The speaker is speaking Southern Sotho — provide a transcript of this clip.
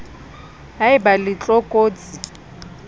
ha e ba le tlokotsi